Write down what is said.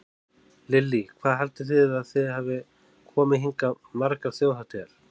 Lillý: Hvað haldið þið að þið hafið komið hingað margar þjóðhátíðar?